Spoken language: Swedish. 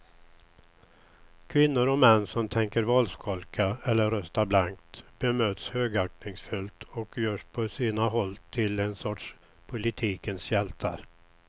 Kvinnor och män som tänker valskolka eller rösta blankt bemöts högaktningsfullt och görs på sina håll till en sorts politikens hjältar.